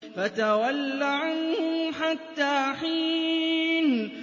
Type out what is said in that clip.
فَتَوَلَّ عَنْهُمْ حَتَّىٰ حِينٍ